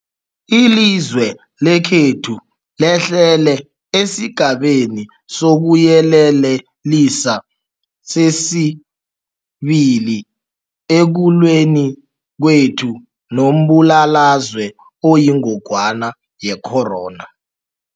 Ilizwe lekhethu lehlele esiGabeni sokuYelelisa sesi-2 ekulweni kwethu nombulalazwe oyingogwana ye-corona.